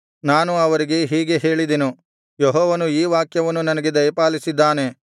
ನಾನು ಅವರಿಗೆ ಹೀಗೆ ಹೇಳಿದೆನು ಯೆಹೋವನು ಈ ವಾಕ್ಯವನ್ನು ನನಗೆ ದಯಪಾಲಿಸಿದ್ದಾನೆ